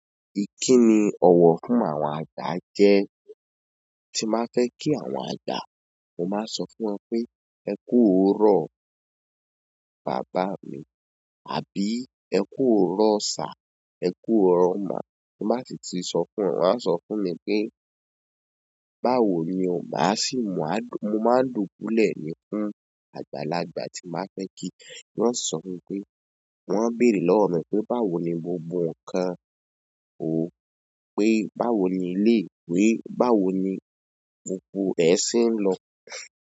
Ìkíni ọ̀wọ̀ fún àwọn àgbà jẹ́, tí má fẹ́ kí àwọn àgba, mo máa sọ fún wọn pé "ẹ kú oorọ̀ bàbá mi", àbí "ẹ kú oorọ̀ sà", "ẹ kú ọ̀rọ̀ ma", timo bá sì tí sọ fún wọn, wọ́n a sọ fún mi pé "báwo ni o?" Má sì mú, mo máa n dùbulẹ̀ ni fún àgbàlagbà tí n bá fẹ́ kí, wọ́n sọ fún pé. Wọ́n bèrè lọ́wọ́ mi pé báwo ni o.